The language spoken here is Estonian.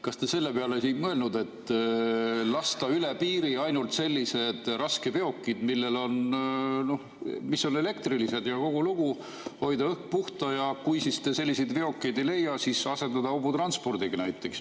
Kas te selle peale ei ole mõelnud, et võiks lasta üle piiri ainult sellised raskeveokid, mis on elektrilised, ja kogu lugu, hoida õhk puhtana, ja kui te selliseid veokeid ei leia, siis asendada need näiteks hobutranspordiga?